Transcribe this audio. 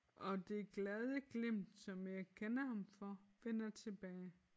Og det glade glimt som jeg kender ham for vender tilbage